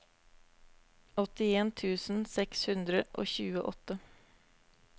åttien tusen seks hundre og tjueåtte